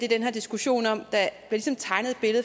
her diskussion